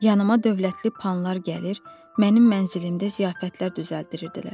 Yanıma dövlətli panlar gəlir, mənim mənzilimdə ziyafətlər düzəldirdilər.